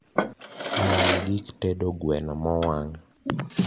many gik tedo gweno mowang